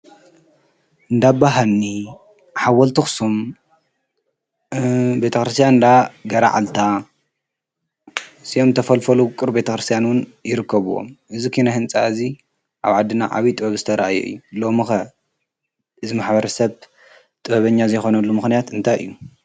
እንዳባ ሃኒ፣ ሓወልቲ ኣኽሱም፣ ቤተ ክርስትያን እንዳገርዓልታ፣ ፅዮን ተፈልፎሉ ቤተክርስትያን እውን ይርከብዎም። እዙይ ኪነ ህንፃ እዚ ኣብ ዓድና ዓብይ ጥበብ ዝተርኣየሉ እዩ። ሎሚ ከ እዚ ማሕበረሰብ ጥበበኛ ዘይኾነሉ ምኽንያት እንታይ እዩ?